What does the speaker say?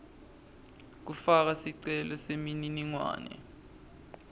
kufaka sicelo semininingwane